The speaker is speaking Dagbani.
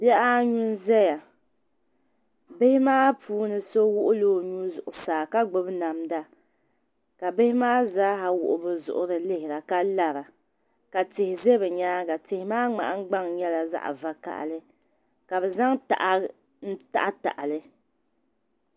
Bihi anu n zaya ,bihi maa puuni. so wuɣi la onuu zuɣu saa ka gbubi namda kabihi maa zaa yihi bizuɣuri na n lihira. ka lara ka tihi za bi nyaaŋa tihi maa mŋahin gbaŋ nyɛ la zaɣi vaka hali ka bi zaŋ taha n taɣi taɣi li .